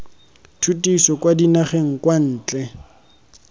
tshutiso kwa dinageng kwa ntle